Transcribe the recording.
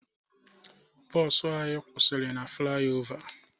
Bọọsụ anyị kwụsịrị na flayova